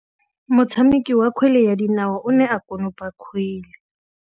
Motshameki wa kgwele ya dinaô o ne a konopa kgwele.